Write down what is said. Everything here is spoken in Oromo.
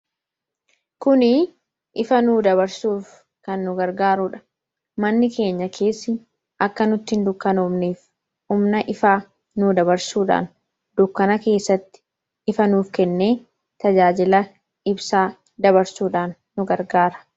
Kuni ifa nu dabarsuuf kan nu gargaaruudha. manni keenya keessi akka nuttiin dukkanoofneef humna ifa nu dabarsuudhaan dukkana keessatti ifa nuuf kenne tajaajila ibsaa dabarsuudhaan nu gargaara.